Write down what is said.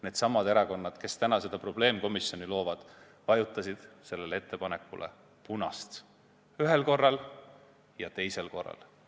Needsamad erakonnad, kes praegu seda probleemkomisjoni loovad, vajutasid punast nuppu ühel korral ja teisel korral.